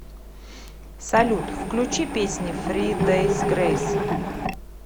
салют включи песни фри дейс грейс